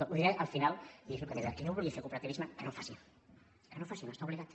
ho diré al final i és el que li deia qui no vulgui fer cooperativisme que no en faci que no en faci no hi està obligat